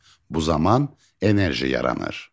Bu zaman enerji yaranır.